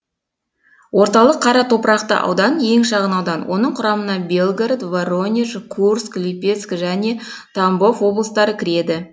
орталық қара топырақты аудан ең шағын аудан оның құрамына белгород воронеж курск липецк және тамбов облыстары кіреді